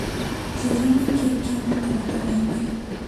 Njĩra nĩkĩĩ kĩ mũtaratara-inĩ.